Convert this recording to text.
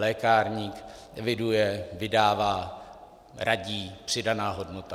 Lékárník eviduje, vydává, radí - přidaná hodnota.